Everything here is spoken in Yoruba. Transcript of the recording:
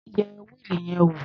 Yẹ wíìlì yẹn wò.